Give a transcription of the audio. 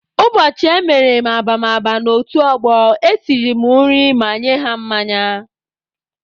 Ụbọchị emere m ababama n'otu ọgbọ, esiri m nri ma nye ha mmanya.